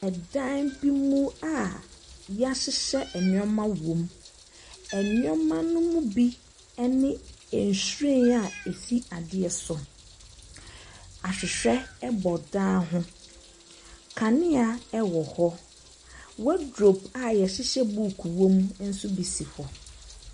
Ɛdan bi mu a yahyehyɛ nnoɔma wɔ mu. Nnoɔma no bi ɛne nhwiren a ɛsi adeɛ so. Ahwehwɛ ɛbɔ dan ho. Kanea ɛwɔ hɔ. Wɔdrope a yɛhyehyɛ booku wɔ mu nso bi si hɔ.